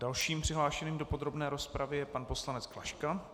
Dalším přihlášeným do podrobné rozpravy je pan poslanec Klaška.